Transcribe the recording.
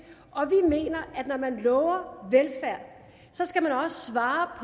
mener at når man lover velfærd skal man også svare